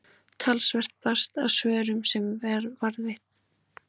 talsvert barst af svörum sem varðveitt eru á stofnuninni